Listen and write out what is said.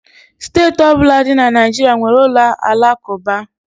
Steeti ọbụla dị na Naịjirịa nwere ụlọ alakụba